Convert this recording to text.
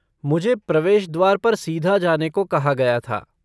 मुझे प्रवेश द्वार पर सीधा जाने को कहा गया था।